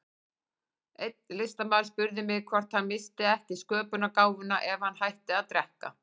Einn listamaður spurði mig hvort hann missti ekki sköpunargáfuna ef hann hætti að drekka.